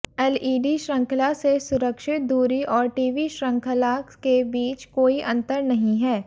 LED श्रृंखला से सुरक्षित दूरी और टीवी श्रृंखला के बीच कोई अंतर नहीं है